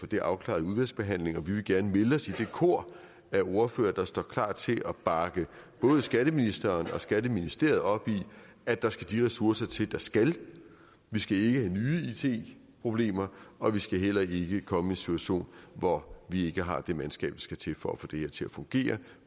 det afklaret i udvalgsbehandlingen og vi vil gerne melde os i det kor af ordførere der står klar til at bakke både skatteministeren og skatteministeriet op i at der skal de ressourcer til der skal vi skal ikke have nye it problemer og vi skal heller ikke komme situation hvor vi ikke har det mandskab der skal til for at få det her til at fungere